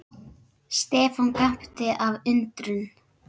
Stefán gapti af undrun.